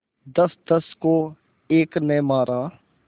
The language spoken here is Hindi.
दसदस को एक ने मारा